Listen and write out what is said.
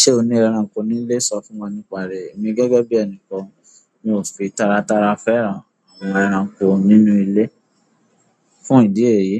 Ṣé o ní ẹranko nílé? Sọ fún wọn nípa rẹ̀. Èmi gẹ́gẹ́ bí ẹni kan, mi ò fi tara tara fẹ́ran àwọn ẹranko nínú ilé. Fún ìdí èyí,